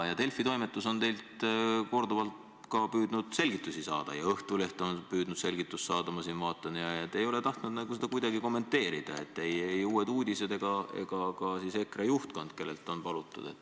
Delfi toimetus on teilt korduvalt püüdnud selgitust saada ja Õhtuleht on püüdnud selgitust saada, aga te ei ole tahtnud seda kuidagi kommenteerida – ei Uued Uudised ega ka EKRE juhtkond, kellelt on seda palutud.